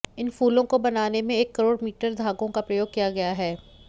इन फूलों को बनाने में एक करोड़ मीटर धागों का प्रयोग किया गया है